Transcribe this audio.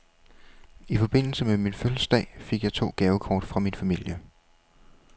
I forbindelse med min fødselsdag fik jeg to gavekort fra min familie.